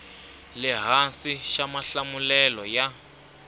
le hansi xa mahlamulelo ya